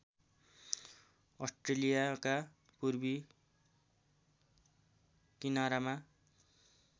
अस्ट्रेलियाका पूर्वी किनारामा